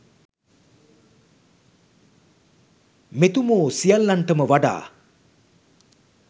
මෙතුමෝ සියල්ලන්ටම වඩා